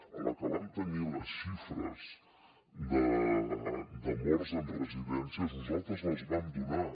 a la que vam tenir les xifres de morts en residències nosaltres les vam donar